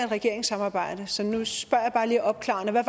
regeringssamarbejde så nu spørger jeg bare lige opklarende hvad